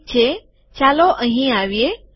ઠીક છે ચાલો અહીં આવીએ